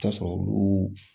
Taa sɔrɔ olu